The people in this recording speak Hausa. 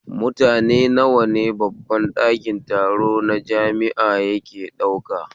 Mutane nawa ne babban ɗakin taro na jami'a yake ɗauka?